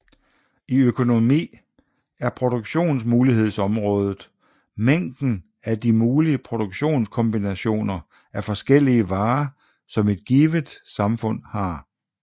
I økonomi er produktionsmulighedsområdet mængden af de mulige produktionskombinationer af forskellige varer som et givet samfund har